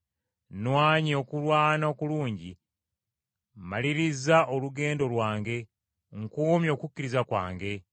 Nnwanye okulwana okulungi, mmalirizza olugendo lwange, nkuumye okukkiriza kwange.